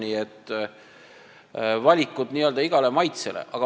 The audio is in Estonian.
Nii et valikut on n-ö igale maitsele.